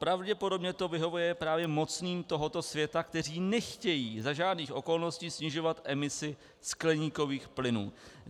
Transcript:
Pravděpodobně to vyhovuje právě mocným tohoto světa, kteří nechtějí za žádných okolností snižovat emisi skleníkových plynů.